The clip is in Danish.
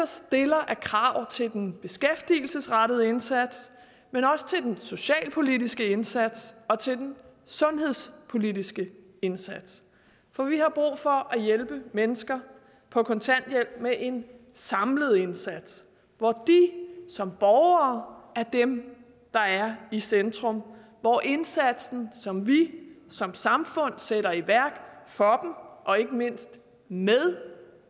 stiller af krav til den beskæftigelsesrettede indsats men også til den socialpolitiske indsats og til den sundhedspolitiske indsats for vi har brug for at hjælpe mennesker på kontanthjælp med en samlet indsats hvor de som borgere er dem der er i centrum og hvor indsatsen som vi som samfund sætter i værk for og ikke mindst med